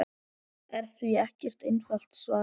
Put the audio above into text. er því ekkert einfalt svar.